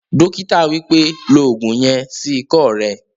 Dókítà wípẹ́, "lo ògùn yen sí ikọ́ rẹ